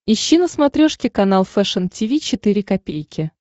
ищи на смотрешке канал фэшн ти ви четыре ка